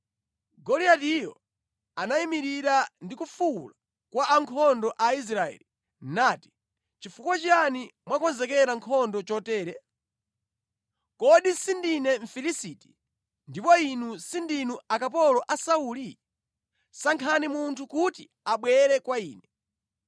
Goliatiyo anayimirira ndi kufuwula kwa ankhondo a Israeli, nati, “Nʼchifukwa chiyani mwakonzekera nkhondo chotere? Kodi sindine Mfilisiti ndipo inu sindinu akapolo a Sauli? Sankhani munthu kuti abwere kwa ine.